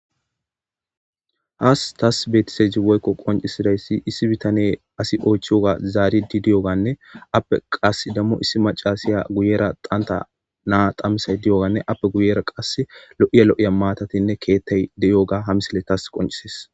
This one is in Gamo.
haas tas beetiseji woykko qoncisidayssi issi bitane asi oychiyoga zaari di diyoganne appe qas dammo issi macasiya guyera qanta naa qammisay di7oganne appe guyera qas lo7iya lo7iya maatatinne keettay de7yoga hamisile tas qoncises